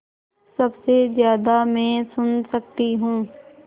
सबसे ज़्यादा मैं सुन सकती हूँ